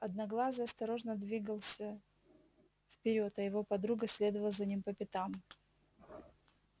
одноглазый осторожно двигался вперёд а его подруга следовала за ним по пятам